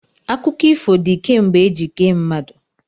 Akụkọ ifo dị kemgbe eji kee mmadụ.